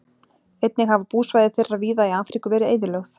einnig hafa búsvæði þeirra víða í afríku verið eyðilögð